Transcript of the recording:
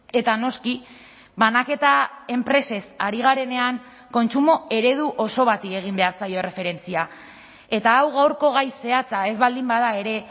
eta noski banaketa enpresez ari garenean kontsumo eredu oso bati egin behar zaio erreferentzia eta hau gaurko gai zehatza ez baldin bada ere